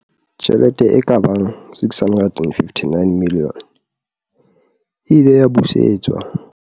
Tjhelete e ka bang R659 milione e ile ya busetswa